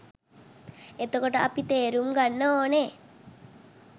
එතකොට අපි තේරුම් ගන්න ඕනෙ